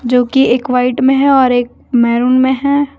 जोकि एक व्हाइट में है और एक मैरून में है।